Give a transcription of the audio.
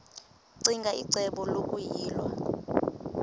ccinge icebo lokuyilwa